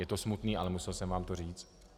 Je to smutné, ale musel jsem vám to říct.